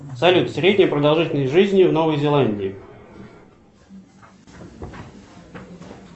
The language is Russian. салют средняя продолжительность жизни в новой зеландии